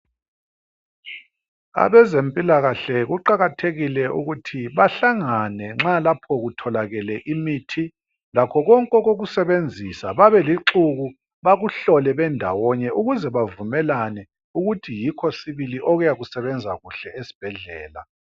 Abezempilakahle kuqakathekile ukuthi behlangane nxa lapho kutholakele imithi lakho konke okokusebenzisa babe lixuku bakuhlole benda wonye ukuze bavumelane ukuthi yikho sibiliokuyakusebenza kuhle esibhedlela